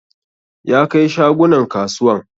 Ya kai shagunan kasuwan